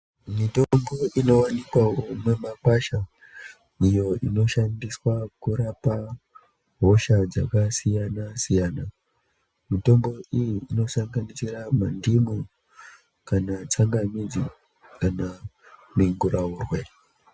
Mitombo inoonekawo mumakwasha iyo inoshandiswa kurapa hosha dzakasiyana siyana mitombo iyi inosanganisira mundimu kana tsangamidzi kana minguraurwe .